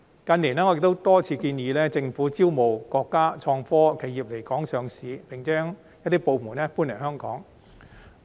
近年，我亦多次建議政府招募國家創科企業來港上市，並且將一些部門搬來香港。